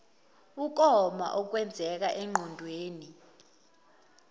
ukoma okwenzeka engqondweni